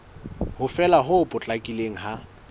ho fela ho potlakileng ha